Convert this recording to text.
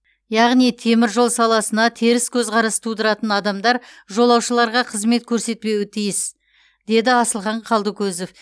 яғни темір жол саласына теріс көзқарас тудыратын адамдар жолаушыларға қызмет көрсетпеуі тиіс деді асылхан қалдыкөзов